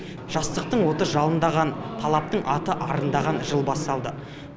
жастықтың оты жалындаған талаптың аты арындаған жыл басталды